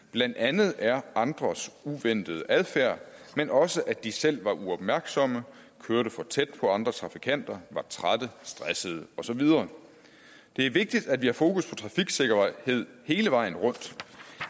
blandt andet er andres uventede adfærd men også at de selv var uopmærksomme kørte for tæt på andre trafikanter var trætte stressede og så videre det er vigtigt at vi har fokus på trafiksikkerhed hele vejen rundt